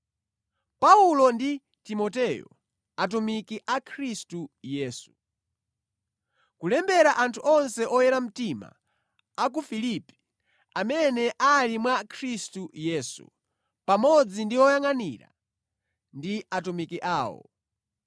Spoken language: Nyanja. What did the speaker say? Paulo ndi Timoteyo, atumiki a Khristu Yesu. Kulembera anthu onse oyera mtima a ku Filipi amene ali mwa Khristu Yesu, pamodzi ndi oyangʼanira ndi atumiki awo.